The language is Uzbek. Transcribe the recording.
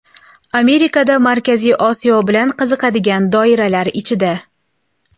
Amerikada Markaziy Osiyo bilan qiziqadigan doiralar ichida.